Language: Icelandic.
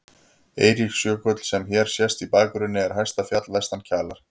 Eiríksjökull, sem hér sést í bakgrunni, er hæsta fjall vestan Kjalar.